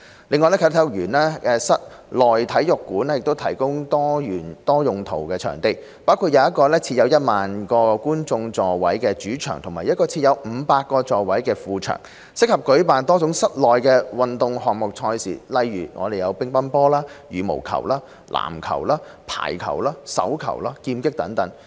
另外，啟德體育園的室內體育館提供多用途場地，包括一個設有 10,000 個觀眾座位的主場及一個設有500個座位的副場，適合舉辦多種室內運動項目的賽事，如乒乓球、羽毛球、籃球、排球、手球、劍擊等。